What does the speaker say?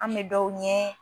An bɛ dɔw ɲɛ